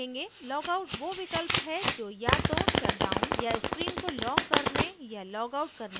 logout वो विकल्प है जो या तो shutdown या screen को lock करने या logout करने में उपयोग होता है